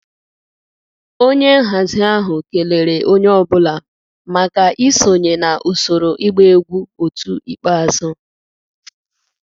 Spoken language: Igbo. Onye nhazi ahụ kelere onye ọ bụla maka isonye na usoro ịgba egwu otu ikpeazụ